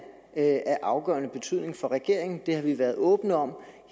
af afgørende betydning for regeringen det har vi været åbne om